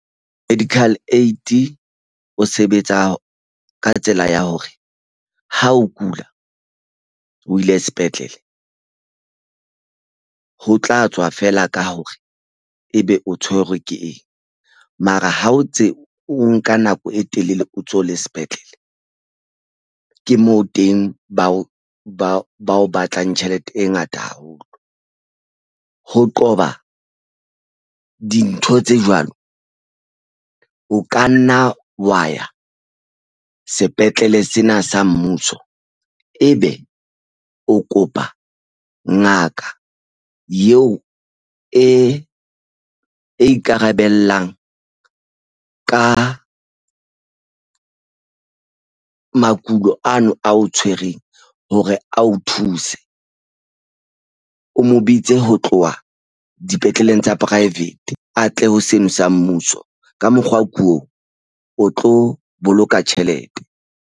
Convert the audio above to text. Medical aid o sebetsa ka tsela ya hore ha o kula o ile sepetlele ho tla tswa feela ka hore ebe o tshwerwe ke eng. Mara ha o tse o nka nako e telele o ntso le sepetlele ke moo teng ba o ba o ba o batlang tjhelete e ngata haholo. Ho qoba dintho tse jwalo o ka nna wa ya sepetlele sena sa mmuso e be o kopa ngaka eo e ikarabellang ka makulo ano ao tshwereng hore a o thuse o mo bitse ho tloha dipetleleng tsa private a tle ho seno sa mmuso. Ka mokgwa oo o tlo boloka tjhelete.